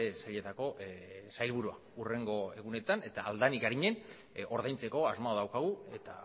sailetako sailburua hurrengo egunetan eta ahal den arinen ordaintzeko asmoa daukagu eta